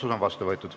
Otsus on vastu võetud.